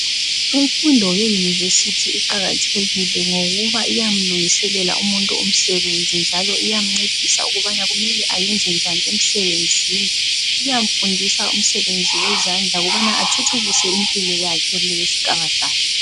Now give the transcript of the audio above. Imfundo yeyunivesithi iqakathekile ngokuba iyamlungiselela umuntu umsebenzi njalo iyamncedisa ukubana kumele ayenze njani emsebenzini iyamfundisa umsebenzi wezandla ukubana athuthukise impilo yakhe lempilo yesigaba sakhe .